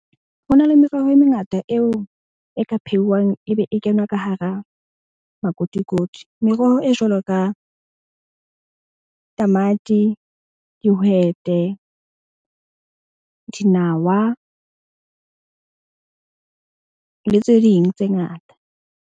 Ho na le meroho e mengata eo e ka pheuwang, e be e kenywa ka hara makotikoti. Meroho e jwalo ka tamati, dihwete, dinawa le tse ding tse ngata.